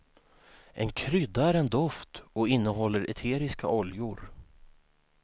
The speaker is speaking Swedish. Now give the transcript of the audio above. En krydda är en doft och innehåller eteriska oljor.